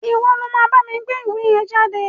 Ìwo lo ma bámi gbé ìwé yen jáde